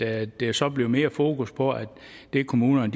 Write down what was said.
at der så bliver mere fokus på at det kommunerne